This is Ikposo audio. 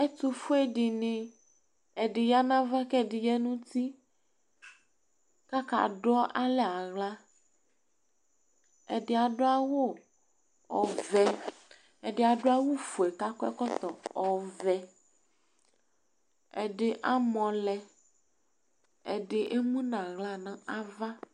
Ɛtʋse dɩnɩ, ɛdɩ ya nʋ ava, kʋ ɛdɩ ya nʋ uti kʋ akadualɛ aɣla Ɛdɩ adu adu awu ɔvɛ, ɛdɩ adu awufue kʋ akɔ ɛkɔtɔ ɔvɛ Ɛdɩ amɔlɛ, ɛdɩ emu nʋ aɣla nʋ ava